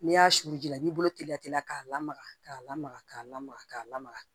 N'i y'a susu ji la i b'i bolo teliya k'a lamaga k'a lamaga k'a lamaga k'a lamaga